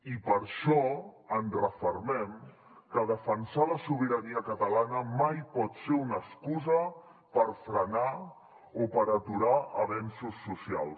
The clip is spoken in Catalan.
i per això ens refermem que defensar la sobirania catalana mai pot ser una excusa per frenar o per aturar avenços socials